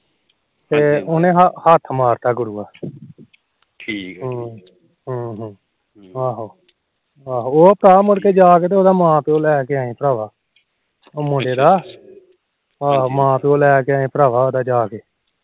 ਉਹ ਤਾ ਕਿਤੇ ਜਾ ਕੇ ਉਦੇ ਮਾ ਪਿਓ ਲੈ ਕੇ ਆਏ ਭਰਾਵਾ ਉਹ ਮੁੰਡੇ ਦਾ ਮਾਂ ਪਿਓ ਲੈ ਕੇ ਆਏ ਭਰਾਵਾ ਜਾਕੇ